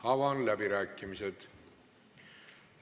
Avan läbirääkimised.